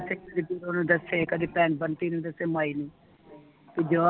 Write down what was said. ਨੂੰ ਦਸੇ ਕਦੀ ਬਹਿਣ ਬੰਟੀ ਨੂੰ ਦਸੇ ਮਾਈ ਨੂੰ ਤੇ ਜਵਾ